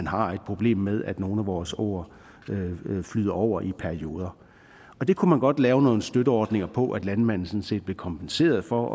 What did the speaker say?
har et problem med at nogle af vores åer flyder over i perioder det kunne man godt lave nogle støtteordninger på så landmanden sådan set blev kompenseret for